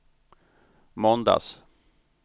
måndags